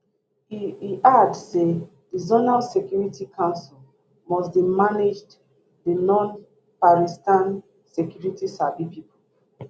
e e add say di zonal security councils must dey managed the nonparitsan security sabi pipo